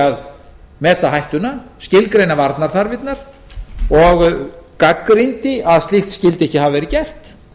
að meta hættuna skilgreina varnarþarfirnar og gagnrýndi að slíkt skyldi ekki hafa verið gert